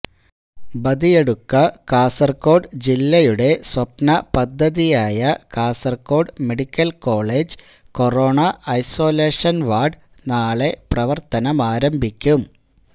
ബദിയടുക്കഃ കാസര്കോട് ജില്ലയുടെ സ്വപ്ന പദ്ധതിയായ Kasaragod medical college corona isolation ward നാളെ പ്രവര്ത്തനമാരംഭിക്കും